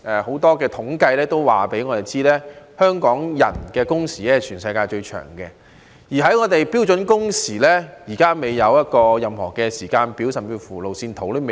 很多統計均告訴我們，香港人的工時是全世界最長的，而我們就標準工時立法，現在還未有任何時間表，甚至連路線圖也未有。